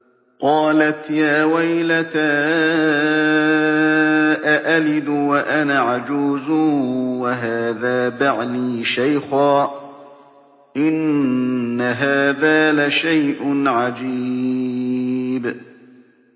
قَالَتْ يَا وَيْلَتَىٰ أَأَلِدُ وَأَنَا عَجُوزٌ وَهَٰذَا بَعْلِي شَيْخًا ۖ إِنَّ هَٰذَا لَشَيْءٌ عَجِيبٌ